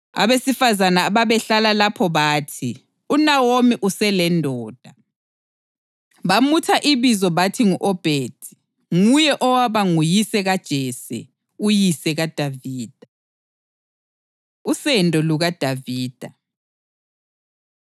Abesifazane ababehlala lapho bathi, “UNawomi uselendodana.” Bamutha ibizo bathi ngu-Obhedi. Nguye owaba nguyise kaJese, uyise kaDavida. Usendo LukaDavida